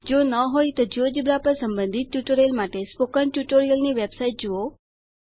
જો ન હોય તો જિયોજેબ્રા પર સંબંધિત ટ્યુટોરીયલ માટે સ્પોકન ટ્યુટોરીયલની વેબસાઇટ જુઓ